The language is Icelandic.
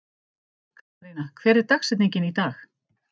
Katharina, hver er dagsetningin í dag?